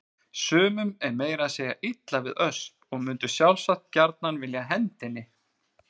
Sumum er meira að segja illa við Ösp og mundu sjálfsagt gjarnan vilja henda henni.